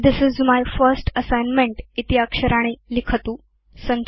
this is my first assignment इति अक्षराणि लिखतु